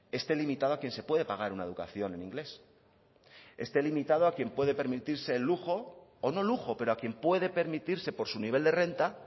esté limitado a quien se puede pagar una educación en inglés esté limitado a quien puede permitirse el lujo o no lujo pero a quien puede permitirse por su nivel de renta